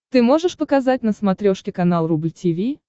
ты можешь показать на смотрешке канал рубль ти ви